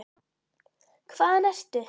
Hvaðan ertu?